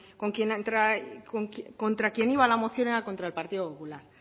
contra quien iba la moción era contra el partido popular